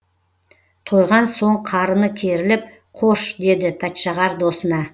тойған соң қарыны керіліп қош деді пәтшағар досына